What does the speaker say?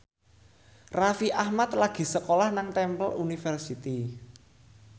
Raffi Ahmad lagi sekolah nang Temple University